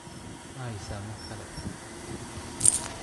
Ma haysaa mid kale?